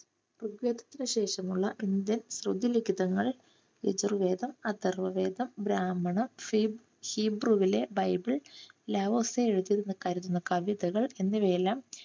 ഋഗ്വേദത്തിനു ശേഷമുള്ള ഇന്ത്യൻ ലഘുലിഖിതങ്ങൾ യജുർവേദം, അഥർവ്വവേദം, ബ്രാഹ്മണ ഹീബ്രു~ഹീബ്രുവിലെ ബൈബിൾ, എഴുതിയിരുന്ന കവിതകൾ എന്നിവയെല്ലാം